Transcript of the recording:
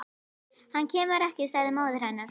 Hann kemur ekki, sagði móðir hennar.